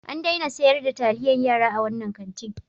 An daina sayar da taliyar yara a wannan kantin.